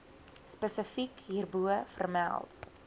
spesifiek hierbo vermeld